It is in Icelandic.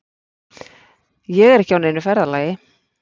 Ég er ekki á neinu ferðalagi.